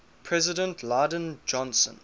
president lyndon johnson